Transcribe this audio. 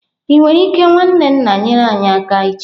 Ị nwere ike nwanne nna nyere anyị aka echi?